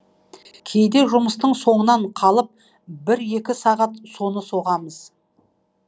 кейде жұмыстың соңынан қалып бір екі сағат соны соғамыз